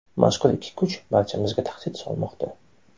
Mazkur ikki kuch barchamizga tahdid solmoqda.